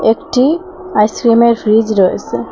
একটি আইসক্রিমের ফ্রিজ রয়েছে।